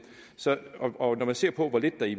og når man ser på hvor lidt der i